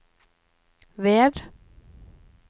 ved